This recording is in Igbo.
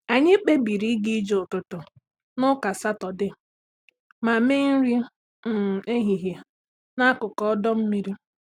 Anyị kpebiri ịga ije ụtụtụ n’Ụka Sátọdee ma mee nri um ehihie n’akụkụ ọdọ mmiri.